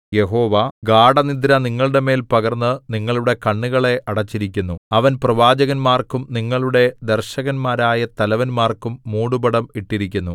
യഹോവ ഗാഢനിദ്ര നിങ്ങളുടെമേൽ പകർന്നു നിങ്ങളുടെ കണ്ണുകളെ അടച്ചിരിക്കുന്നു അവൻ പ്രവാചകന്മാർക്കും നിങ്ങളുടെ ദർശകന്മാരായ തലവന്മാർക്കും മൂടുപടം ഇട്ടിരിക്കുന്നു